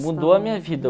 Mudou a minha vida.